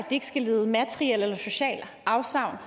ikke skal lide materielle eller sociale afsavn